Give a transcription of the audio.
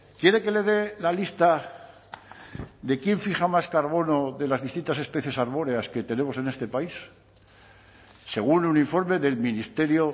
quiere que le dé la lista de quién fija más carbono de las distintas especies arbóreas que tenemos en este país según un informe del ministerio